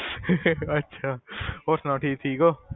ਅੱਛਾ ਹੋਰ ਸੁਣਾ ਤੁਸੀਂ ਠੀਕ ਹੋ?